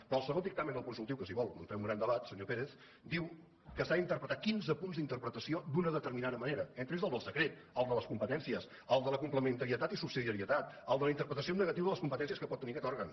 però el segon dictamen del consultiu que si vol no en fem un gran debat senyor pérez diu que s’han d’interpretar quinze punts d’interpretació d’una determinada manera entre ells el del secret el de les competències el de la complementarietat i subsidiarietat el de la interpretació en negatiu de les competències que pot tenir aquest òrgan